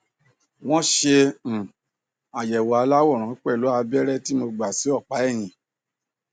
wọn ṣe um àyẹwò aláwòrán pẹlú abẹrẹ tí mo gbà sínú ọpá ẹyìn